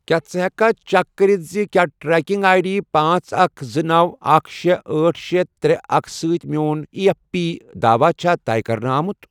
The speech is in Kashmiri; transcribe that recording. کیٛاہ ژٕ ہیٚککھا چیک کٔرتھ زِ کیٛاہ ٹریکنگ آٮٔۍ ڈی پانژھ، اکھ، زٕ، نوَ، اکھ، شے، أٹھ، شے، ترے، اکھ سۭتۍ میٚون ایی ایف پی داواہ چھا طے کَرنہٕ آمُت؟